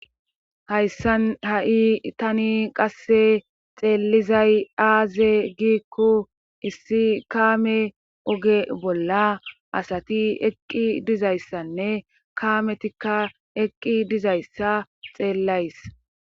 Hayssan ha'i tani qasse xeellizay aaze giikko issi kaame oge bolla asati eqqi dizayssanne kaametikka eqqi dizayssa xeellays.